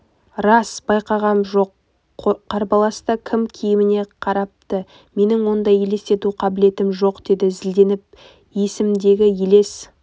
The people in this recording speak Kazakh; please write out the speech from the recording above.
рас байқағам жоқ қарбаласта кім киіміне қарапты менің ондай елестету қабілетім жоқ деді зілденіп есімдегі елес